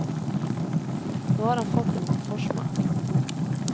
Nå har han fått en forsmak.